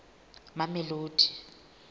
mamelodi